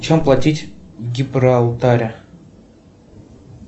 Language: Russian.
чем платить в гибралтаре